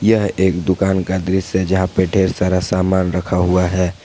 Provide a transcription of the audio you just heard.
यह एक दुकान का दृश्य जहां पे ढेर सारा सामान रखा हुआ है।